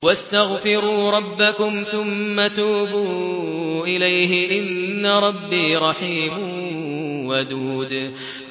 وَاسْتَغْفِرُوا رَبَّكُمْ ثُمَّ تُوبُوا إِلَيْهِ ۚ إِنَّ رَبِّي رَحِيمٌ وَدُودٌ